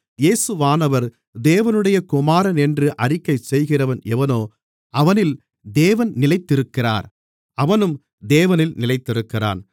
இயேசுவானவர் தேவனுடைய குமாரனென்று அறிக்கைசெய்கிறவன் எவனோ அவனில் தேவன் நிலைத்திருக்கிறார் அவனும் தேவனில் நிலைத்திருக்கிறான்